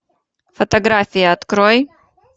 фотографии открой